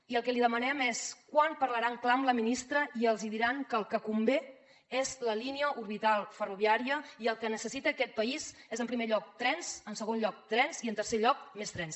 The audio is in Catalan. i el que li demanem és quan parlaran clar amb la ministra i els hi diran que el que convé és la línia orbital ferroviària i que el que necessita aquest país és en primer lloc trens en segon lloc trens i en tercer lloc més trens